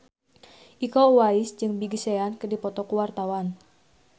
Iko Uwais jeung Big Sean keur dipoto ku wartawan